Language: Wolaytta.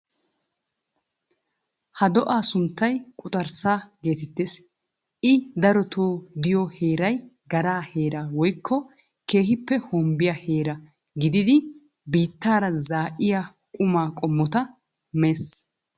Ha do'aa sunttay quxxarssaa geetettees. I darotoo diyo heeray garaa heeraa wokko kehippe hombbiya heera giddidi biittaara zaa'iya qumaa qommota mees.